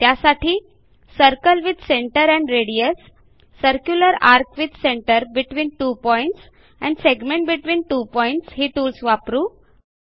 त्यासाठी circle with centre and radius circular ARC with centre between two points and segment between two points ही tools वापरू